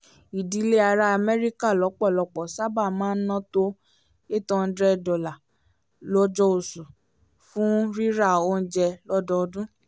ìdílé ará amẹ́ríkà lọ́pọ̀lọpọ̀ sábà máa ń ná tó eight hundred dollar lójooṣù fún rírà oúnjẹ lódodun